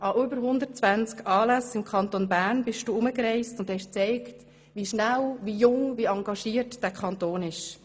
An über 120 Anlässen bist du für den Kanton Bern herumgereist und hast gezeigt, wie schnell, wie jung und wie engagiert dieser Kanton ist.